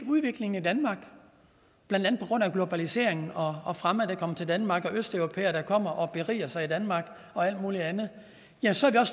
udviklingen i danmark blandt andet på grund af globaliseringen og fremmede der kommer til danmark østeuropæere der kommer og beriger sig i danmark og alt muligt andet ja så er